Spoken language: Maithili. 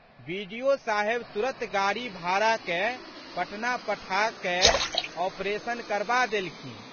बि.डि.ओ.साहेब तुरत गाड़ी भाड़ा कए पटना पठाकए ऑपरेशन करबा देलखिन।